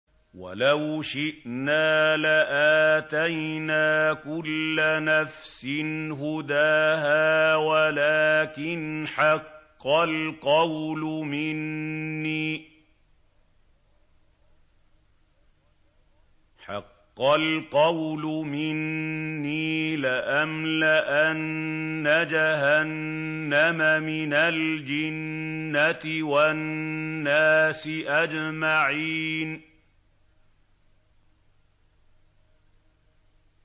وَلَوْ شِئْنَا لَآتَيْنَا كُلَّ نَفْسٍ هُدَاهَا وَلَٰكِنْ حَقَّ الْقَوْلُ مِنِّي لَأَمْلَأَنَّ جَهَنَّمَ مِنَ الْجِنَّةِ وَالنَّاسِ أَجْمَعِينَ